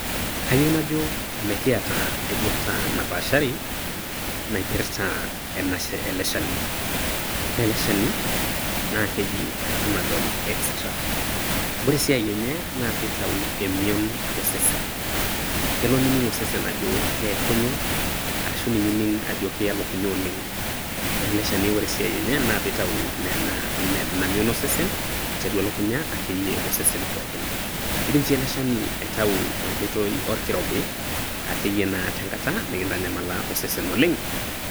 Kayieu najo mikiata ai duata napaashari naipirta ena ele shani. Ore ele shani naa keji panadol extra [cs. Ore esiai enye naa pitayu emiion to sesen, kelo nining osesen ajo keekunye, ashu elo nining ajo kiya elukuny oooleng. Ore ele shani esiai enye naa pitayu oo nena ina mion osesen aiteru elukunya akeyie osesen. Idim si ele shani aitayu ekoitoi orkirobi akeyie te kata nikitanyamala osesen oooleng.